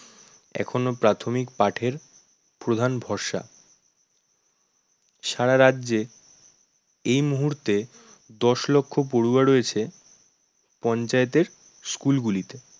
এখনও প্রাথমিক পাঠের প্রধান ভরসা। সারা রাজ্যে এ মুহূর্তে দশ লক্ষ পড়ুয়া রয়েছে পঞ্চায়েতের school গুলিতে